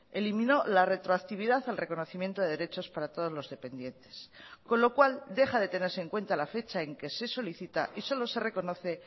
eliminó la retroactividad al reconocimiento de derechos para todos los dependientes con lo cual deja de tenerse en cuenta la fecha en que se solicita y solo se reconoce